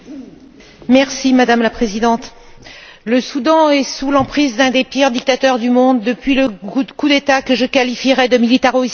Madame la Présidente, le Soudan est sous l'emprise d'un des pires dictateurs du monde depuis le coup d'État que je qualifierais de militaro islamique en